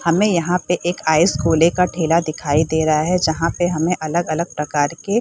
हमे यहाँ पे एक आइस गोले का ठेला दिखाई दे रहा हैं जहाँ पे हमें अलग-अलग प्रकार के--